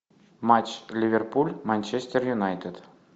матч ливерпуль манчестер юнайтед